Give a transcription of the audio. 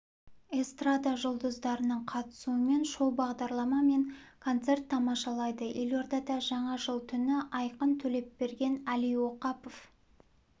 эстрада жұлдыздарының қатысуымен шоу-бағдарлама мен концерт тамашалайды елордада жаңа жыл түні айқын төлепберген әли оқапов